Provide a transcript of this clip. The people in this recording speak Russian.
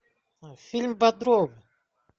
фильм бодров